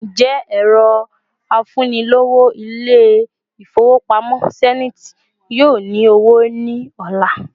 Ǹjẹ́ ẹrọ afunilowo İle-ifowopamo Zenith yóò ní owó ni ola